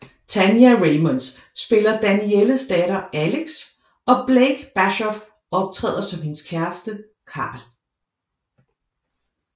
Tania Raymonde spiller Danielles datter Alex og Blake Bashoff optræder som hendes kæreste Karl